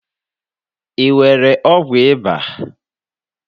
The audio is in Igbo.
ị nwere ọgwụ ịba?